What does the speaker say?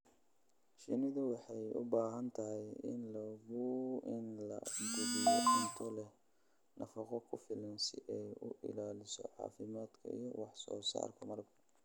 Shinnidu waxay u baahan tahay in la quudiyo cunto leh nafaqo ku filan si ay u ilaaliso caafimaadka iyo wax soo saarka malabka.